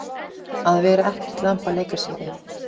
Að vera ekkert lamb að leika sér við